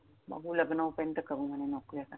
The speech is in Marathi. बघू लग्न होई पर्यंत करू म्हणे नोकरी आता!